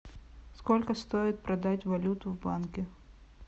сколько стоит продать валюту в банке